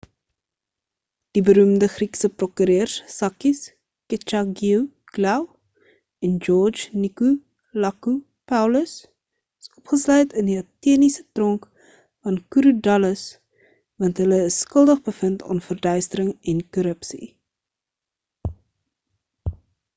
die beroemde griekse prokureurs sakis kechagioglou en george nikolakopoulos is opgesluit in die ateniese tronk van korydallus want hulle is skuldig bevind aan verduistering en korrupsie